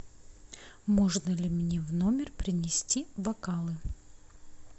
можно ли мне в номер принести бокалы